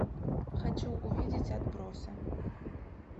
хочу увидеть отбросы